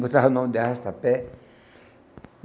Botava o nome de arrasta-pé.